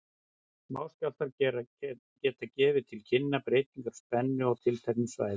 Smáskjálftar geta gefið til kynna breytingar á spennu á tilteknum svæðum.